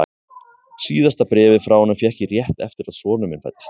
Síðasta bréfið frá honum fékk ég rétt eftir að sonur minn fæddist.